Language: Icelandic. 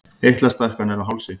Eitlastækkanir á hálsi.